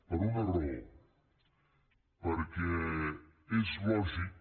per una raó perquè és lògic